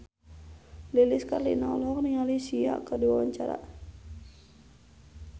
Lilis Karlina olohok ningali Sia keur diwawancara